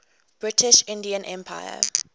british indian empire